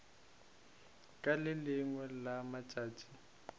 ka le lengwe la matšatši